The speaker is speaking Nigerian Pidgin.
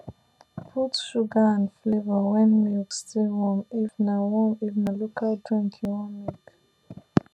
put sugar and flavour when milk still warm if na warm if na local drink you wan make